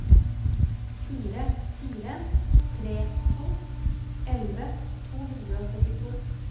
fire fire tre to elleve to hundre og syttito